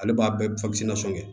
Ale b'a bɛɛ kɛ